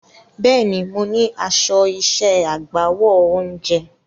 Bẹ́ẹ̀ni, mo ní aṣọ iṣẹ́ agbáwo oúnjẹ.